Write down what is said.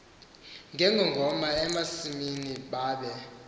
ngengoma emasimini babe